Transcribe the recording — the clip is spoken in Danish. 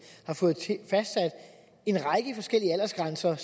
har fået fastsat en række forskellige aldersgrænser